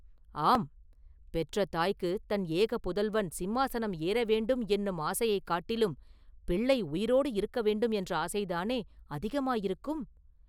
“ஆம்; பெற்ற தாய்க்குத் தன் ஏக புதல்வன் சிம்மாசனம் ஏற வேண்டும் என்னும் ஆசையைக் காட்டிலும் பிள்ளை உயிரோடு இருக்க வேண்டும் என்ற ஆசை தானே அதிகமாயிருக்கும்?